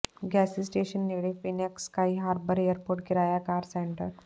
ਗੈਸੀ station ਨੇੜੇ Phoenix Sky Harbor airport ਕਿਰਾਇਆ car centre